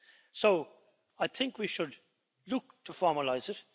So I think we should look to formalise it.